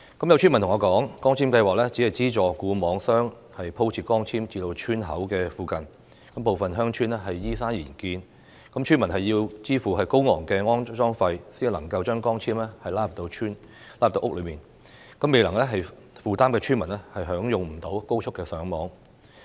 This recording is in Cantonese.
有村民告訴我，光纖計劃只是資助固網商鋪設光纖至村口附近，部分鄉村依山而建，村民要支付高昂的安裝費用，才能將光纖拉入鄉村和屋內，未能負擔費用的村民便享用不到高速上網。